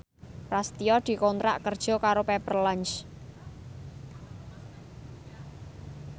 Prasetyo dikontrak kerja karo Pepper Lunch